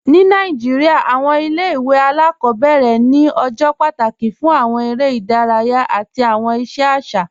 Ni Nàìjíríà, awọn ilẹ̀-ìwé aláàkọbẹ̀rẹ ni awọn ọjọ́ pátákì fún awọn èrè idáràyà àti awọn iṣẹ aṣa.